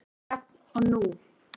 Jafn og nú.